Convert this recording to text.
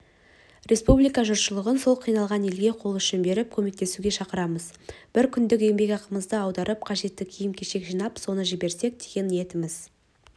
республика жұртшылығын сол қиналған елге қол ұшын беріп көмектесуге шақырамын бір күндік еңбекақымызды аударып қажетті киім-кешек жинап соны жіберсек деген ниетіміз